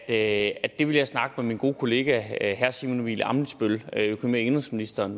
at det vil jeg snakke med min gode kollega herre simon emil ammitzbøll bille økonomi og indenrigsministeren